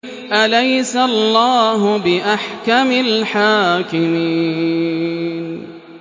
أَلَيْسَ اللَّهُ بِأَحْكَمِ الْحَاكِمِينَ